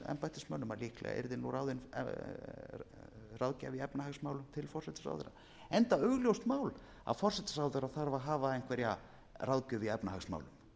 embættismönnum að líklega yrði ráðinn ráðgjafi í efnahagsmálum til forsætisráðherra enda augljóst mál að forsætisráðherra þarf að hafa einhverja ráðgjöf í efnahagsmálum